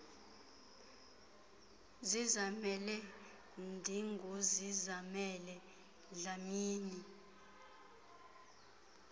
zizamele ndinguzizamele dlamini